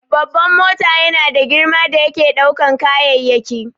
Babban mota yana da girma da yake ɗaukan kayayyaki